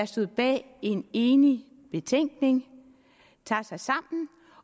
stod bag en enig betænkning tager sig sammen